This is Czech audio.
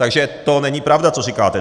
Takže to není pravda, co říkáte.